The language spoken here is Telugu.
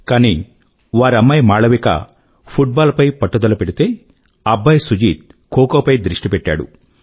కానీ వారి అమ్మాయి మాళవిక ఫుట్ బాల్ పై పట్టుదల పెడితే అబ్బాయి సుజీత్ ఖో ఖో పై దృష్టి పెట్టాడు